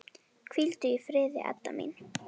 Hvíldu í friði, Edda mín.